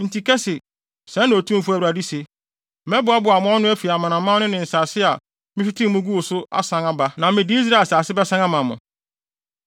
“Enti ka se, ‘Sɛɛ na Otumfo Awurade se: Mɛboaboa mo ano afi amanaman no ne nsase a mehwetee mo guu so no asan aba, na mede Israel asase bɛsan ama mo.’